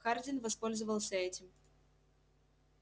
хардин воспользовался этим